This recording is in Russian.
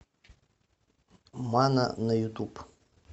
мана на ютуб